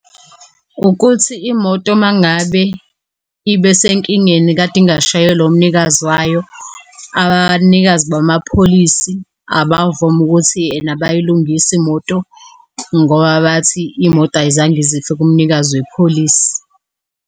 Ukuthi imoto mangabe ibe senkingeni kade ingashayelwa umnikazi wayo. Abanikazi bamapholisi abavumi ukuthi ena bayilungise imoto ngoba bathi imoto ayizange izife kumnikazi wepholisi.